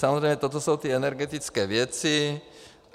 Samozřejmě toto jsou ty energetické věci.